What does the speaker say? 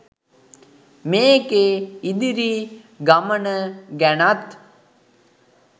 මේකේ ඉදිරි ගමන ගැනත්